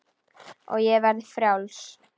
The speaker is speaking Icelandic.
Og ég verði frjáls.